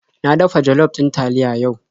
Na dafa jollof ɗin taliya yau.